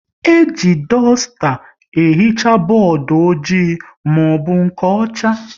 E ji dusta ehicha bọọdụ ojii maọbụ nke ọcha